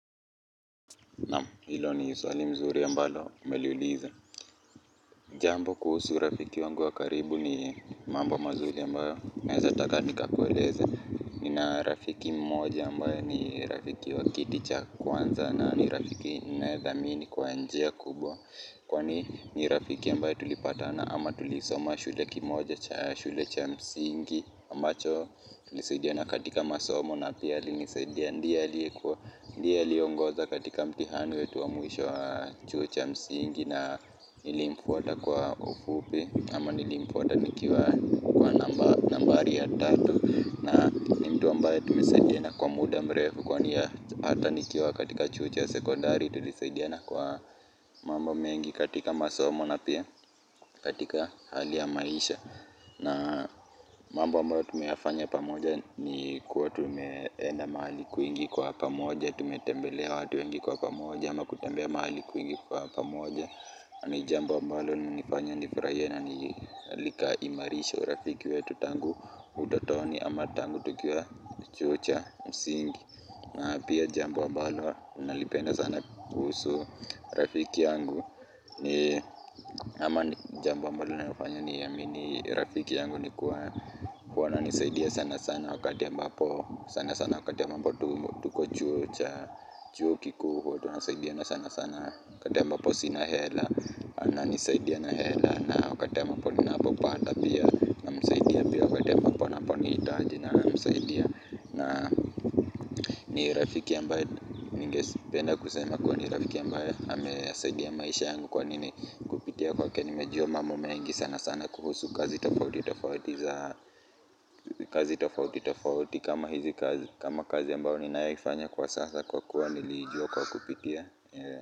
Naam hilo ni swali mzuri ambalo umeliuliza jambo kuhusu rafiki wangu wa karibu ni mambo mazuri ambayo naezataka nikakueleze nina rafiki mmoja ambaye ni rafiki wa kiti cha kwanza na ni rafiki ninayedhamini kwa njia kubwa kwa ni rafiki ambaye tulipatana ama tulisoma shule kimoja shule cha msingi ambacho tulisaidiana katika masomo na pia alinisaidia ndiye aliongoza katika mtihani wetu wa mwisho wa chuo cha msingi na nilimfuata kwa ufupi ama nilimfuata nikiwa kwa nambari ya tatu na ni mtu ambaye tumesaidiana kwa muda mrefu kwani hata nikiwa katika chuo cha sekondari tulisaidiana kwa mambo mengi katika masomo na pia katika hali ya maisha na mambo ambayo tumeyafanya pamoja ni kuwa tumeenda mahali kwingi kwa pamoja tumetembelea watu wengi kwa pamoja ama kutembea mahali kwingi kwa pamoja ni jambo ambalo lilinifanya nifurahie na niimarishe urafiki wetu tangu utotoni ama tangu tukiwa chuo cha msingi na pia jambo ambalo nalipenda sana kuhusu rafiki yangu ni ama jambo ambalo linanifanya niamini rafiki yangu ni kuwa wananisaidia sana sana wakati ambapo sana sana wakati ambapo tuko chuo cha chuo kikuu huwa tunasaidiana sana sana wakati ambapo sina hela ananisaidia na hela na wakati ambapo ninapopata pia namsaidia pia wakati ambapo anaponihitaji namsaidia na ni rafiki ambaye ningependa kusema kuwa ni rafiki ambaye amesaidia maisha yangu kwa nini kupitia kwake nimejua mambo mengi sanasana kuhusu kazi tofauti tofauti za kazi tofauti tofauti kama hizi kazi kama kazi ambayo ninayoifanya kwa sasa kwa kuwa niliijua kwa kupitia.